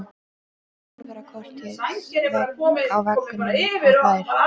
Hún horfir á krotið á veggnum og hlær.